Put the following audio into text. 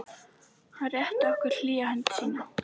Hann rétti okkur hlýja hönd sína.